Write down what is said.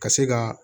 Ka se ka